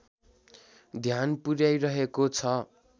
ध्यान पुर्‍याइरहेको छ